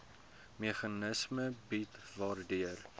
meganisme bied waardeur